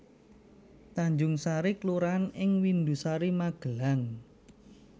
Tanjungsari kelurahan ing Windusari Magelang